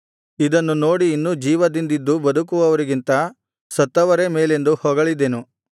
ಇದನ್ನು ನೋಡಿ ಇನ್ನೂ ಜೀವದಿಂದಿದ್ದು ಬದುಕುವವರಿಗಿಂತ ಸತ್ತವರೇ ಮೇಲೆಂದು ಹೊಗಳಿದೆನು